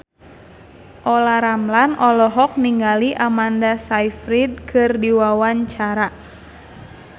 Olla Ramlan olohok ningali Amanda Sayfried keur diwawancara